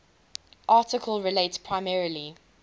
article relates primarily